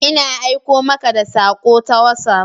Ina aiko muka da sako ta WhatsApp.